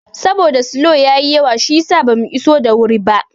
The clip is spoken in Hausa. Saboda go slo ya yi yawa shiyasa bamu iso da wuri ba.